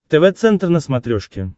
тв центр на смотрешке